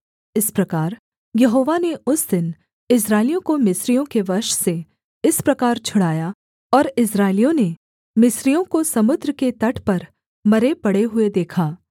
इस प्रकार यहोवा ने उस दिन इस्राएलियों को मिस्रियों के वश से इस प्रकार छुड़ाया और इस्राएलियों ने मिस्रियों को समुद्र के तट पर मरे पड़े हुए देखा